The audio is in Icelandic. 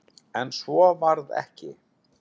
En svo varð ekki.